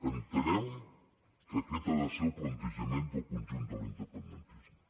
entenem que aquest ha de ser el plantejament del conjunt de l’independentisme